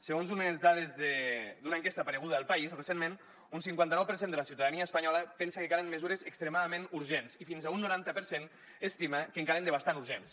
segons unes dades d’una enquesta apareguda a el país recentment un cinquanta nou per cent de la ciutadania espanyola pensa que calen mesures extremadament urgents i fins a un noranta per cent estima que en calen de bastant urgents